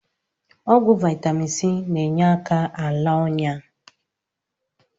Ọgwụ Vaitamin C na-enyeaka ala ọnyá. Ọgwụ